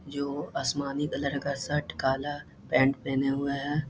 जो आसमानी कलर का शर्ट काला पैंट पहने हुए हैं।